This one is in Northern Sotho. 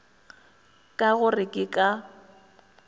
ka go re ke ka